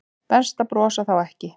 Best að brosa þá ekki.